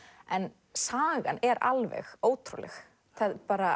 en sagan er alveg ótrúlegt